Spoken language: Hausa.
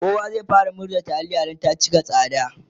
kowa zai fara murza taliya Da kansa Dan ta cika tsada